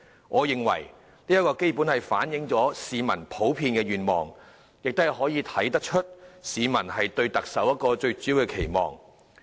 我認為這基本反映了市民的普遍願望，亦可從中看到市民對特首的最主要期望。